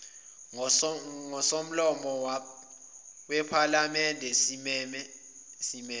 ngosomlomo wephalamende simeme